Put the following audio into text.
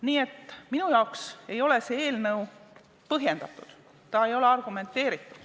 Nii et minu jaoks ei ole see eelnõu põhjendatud, ta ei ole argumenteeritud.